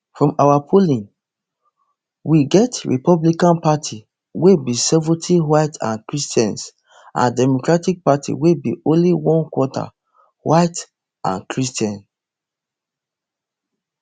from our polling we get republican party wey be seventy white and christian and democratic party wey be only one quarter white and christian